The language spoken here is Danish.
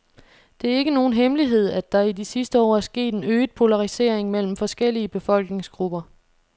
Det er ikke nogen hemmelighed, at der i de sidste år er sket en øget polarisering mellem forskellige befolkningsgrupper.